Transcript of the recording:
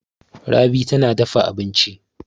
Rabi tana dafa abinci.